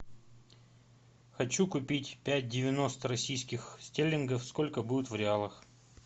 хочу купить пять девяносто российских стерлингов сколько будет в реалах